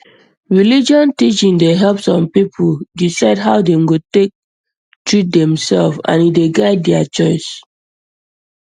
religion teaching dey help some people decide how dem go take treat demself and e dey guide their choice